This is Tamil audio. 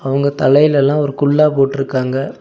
இவங்க தலையிலல்லா ஒரு குல்லா போட்ருக்காங்க.